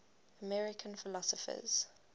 american philosophers